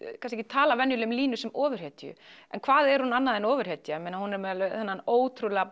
talað venjulega um Línu sem ofurhetju en hvað er hún annað en ofurhetja hún er með þennan ótrúlega